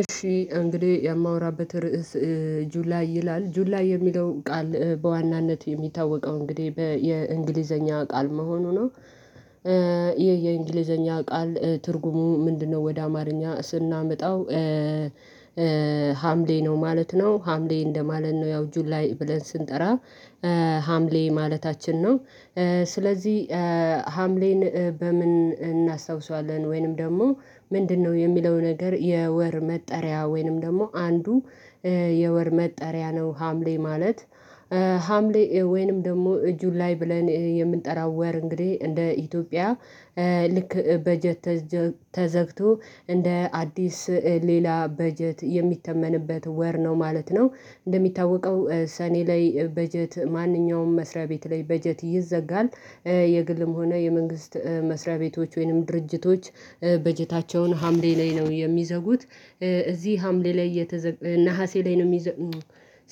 እሺ እንግዴ የማወራበት ርዕስ ጁላይ ይላል ጁላይ የሚለውን ቃል በዋናነት የሚታወቀው እንግዲህ በየእንግሊዘኛ ቃል መሆኑ ነው ይህ የእንግሊዘኛ ቃል ትርጉሙ ምንድነው ወደ አማርኛ ስናመጣው ሀምሌ ነው ማለት ነው ሀምሌ እንደማለት ነው ያው ጁላይ ብለን ስንጠራ ሀምሌ ማለታችን ነው ስለዚህ ሀምሌን በምን እናስታውሰዋለን ወይንም ደግሞ ምንድነው የሚለው ነገር የወር መጠሪያ ወይንም ደግሞ አንዱ የወር መጠሪያ ነው ሀምሌ ማለት ሀምሌ ወይንም ደግሞ ጁላይ ላይ ብለን የምንጠራው ወር እንግዲህ እንደ ኢትዮጵያ ልክ በጀት ተዘግቶ እንደ አዲስ ሌላ በጀት የሚተመንበት ወር ነው ማለት ነው እንደሚታወቀው ሰኔ ላይ በጀት ማንኛውም መስሪያ ቤት ላይ በጀት ይዘጋል የግልም ሆነ የመንግስት መስሪያ ቤቶች ወይንም ድርጅቶች በጀታቸውን ሀምሌ ላይ ነው የሚዘጉት እዚህ ሀምሌ ላይ እየተዘጋ ነሀሴ ላይ ነው የሚዘ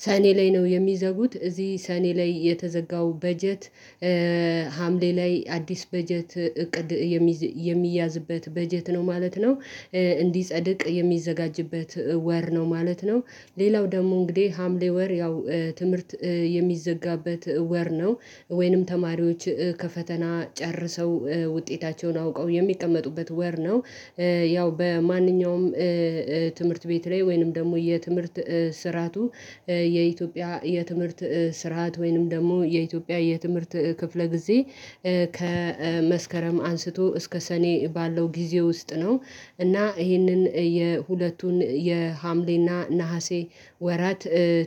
ሰኔ ላይ ነው የሚዘጉት እዚህ ሰኔ ላይ የተዘጋው በጀት ሀምሌ ላይ አዲስ በጀት እቅድ የሚያዝበት በጀት ነው ማለት ነው እንዲጸድቅ የሚዘጋጅበት ወር ነው ማለት ነው ሌላው ደግሞ እንግዲህ ሀምሌ ወር ያው ትምህርት የሚዘጋበት ወር ነው ወይንም ተማሪዎች ከፈተና ጨርሰው ውጤታቸውን አውቀው የሚቀመጡበት ወር ነው ያው በማንኛውም ትምህርት ቤት ላይ ወይንም ደግሞ የትምህርት ስርዓቱ የኢትዮጵያ የትምህርት ስርዓት ወይንም ደግሞ የኢትዮጵያ የትምህርት ክፍለ ጊዜ ከመስከረም አንስቶ እስከ ሰኔ ባለው ጊዜ ውስጥ ነው እና ይህንን የሁለቱን የሀምሌና ነሀሴ ወራት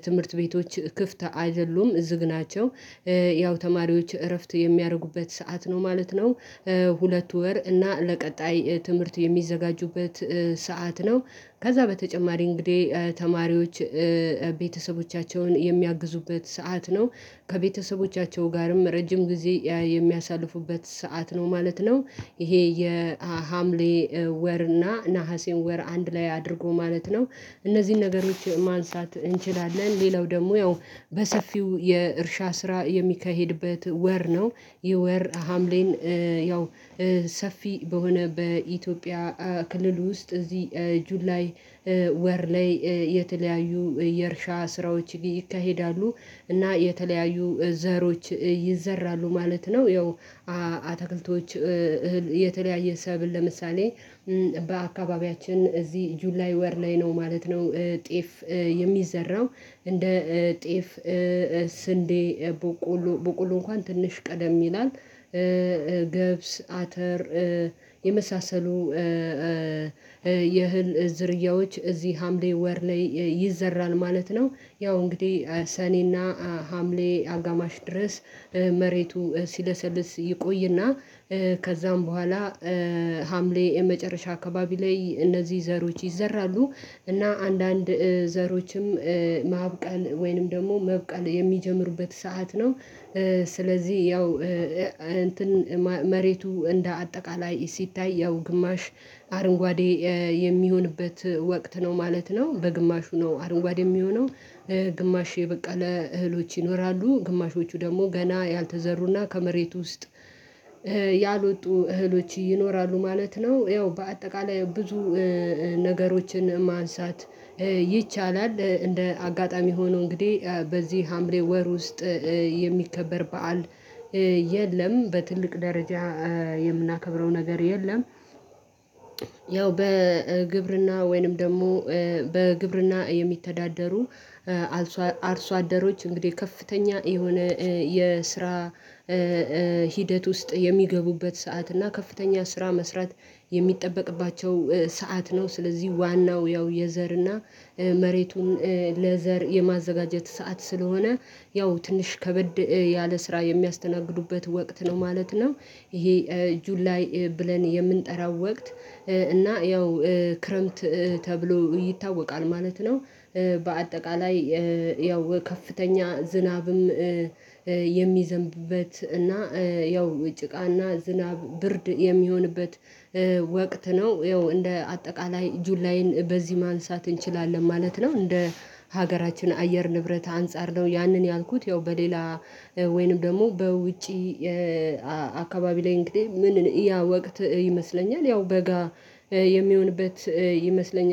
ትምህርት ቤቶች ክፍት አይደሉም ዝግ ናቸው ያው ተማሪዎች እረፍት የሚያርጉበት ሰዓት ነው ማለት ነው ሁለት ወር እና ለቀጣይ ትምህርት የሚዘጋጁበት ሰዓት ነው ከዛ በተጨማሪ እንግዲህ ተማሪዎች ቤተሰቦቻቸውን የሚያግዙበት ሰዓት ነው ከቤተሰቦቻቸው ጋርም ረጅም ጊዜ የሚያሳልፉበት ሰዓት ነው ማለት ነው ይሄ የሀምሌ ወር እና ነሀሴን ወር አንድ ላይ አድርጎ ማለት ነው እነዚህን ነገሮች ማንሳት እንችላለን ሌላው ደግሞ ያው በሰፊው የእርሻ ስራ የሚካሄድበት ወር ነው ይህ ወር ሀምሌን ያው ሰፊ በሆነ በኢትዮጵያ ክልል ውስጥ እዚህ ጁላይ ወር ላይ የተለያዩ የእርሻ ስራዎች ይካሄዳሉ እና የተለያዩ ዘሮች ይዘራሉ ማለት ነው ያው አታክልቶች እህል የተለያየ ሰብል ለምሳሌ በአካባቢያችን እዚህ ጁላይ ወር ላይ ነው ማለት ነው ጤፍ የሚዘራው እንደ ጤፍ ስንዴ ቦቆሉ ቦቆሉ እንኳን ትንሽ ቀደም ይላል ገብስ አተር የመሳሰሉ የእህል ዝርያዎች እዚህ ሀምሌ ወር ላይ ይዘራል ማለት ነው ያው እንግዲህ ሰኔና ሀምሌ አጋማሽ ድረስ መሬቱ ሲለሰልስ ይቆይና ከዛም በኋላ ሀምሌ የመጨረሻ አካባቢ ላይ እነዚህ ዘሮች ይዘራሉ እና አንዳንድ ዘሮችም ማብቀል ወይንም ደግሞ መብቀል የሚጀምሩበት ሰዓት ነው ስለዚህ ያው እንትን መሬቱ እንደ አጠቃላይ ሲታይ ያው ግማሽ አርንጓዴ የሚሆንበት ወቅት ነው ማለት ነው በግማሹ ነው አረንጓዴ የሚሆነው ግማሽ በቃ ለእህሎች ይኖራሉ ግማሾቹ ደግሞ ገና ያልተዘሩና ከመሬት ውስጥ ያልወጡ እህሎች ይኖራሉ ማለት ነው ያው በአጠቃላይ ብዙ ነገሮችን ማንሳት ይቻላል እንደ አጋጣሚ ሆኖ እንግዲህ በዚህ ሀምሬ ወር ውስጥ የሚከበር በዓል የለም በትልቅ ደረጃ የምናከብረው ነገር የለም። ያው በግብርና ወይንም ደግሞ በግብርና የሚተዳደሩ አርሶ አደሮች እንግዲህ ከፍተኛ የሆነ የስራ ሂደት ውስጥ የሚገቡበት ሰዓት እና ከፍተኛ ስራ መስራት የሚጠበቅባቸው ሰዓት ነው ስለዚህ ዋናው ያው የዘር እና መሬቱን ለዘር የማዘጋጀት ሰዓት ስለሆነ ያው ትንሽ ከበድ ያለ ስራ የሚያስተናግዱበት ወቅት ነው ማለት ነው። ይሄ ጁላይ ላይ ብለን የምንጠራው ወቅት እና ያው ክረምት ተብሎ ይታወቃል ማለት ነው። በአጠቃላይ ያው ከፍተኛ ዝናብም የሚዘንብበት እና ያው ጭቃና ዝናብ ብርድ የሚሆንበት ወቅት ነው ይኸው እንደ አጠቃላይ ጁላይን በዚህ ማንሳት እንችላለን ማለት ነው እንደ ሀገራችን አየር ንብረት አንፃር ነው ያንን ያልኩት ያው በሌላ ወይንም ደግሞ በውጪ አካባቢ ላይ እንግዲህ ምንን እያ ወቅት ይመስለኛል ያው በጋ የሚሆንበት ይመስለኛል።